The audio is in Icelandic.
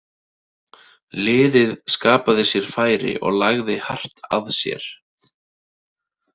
Liðið skapaði sér færi og lagði hart að sér.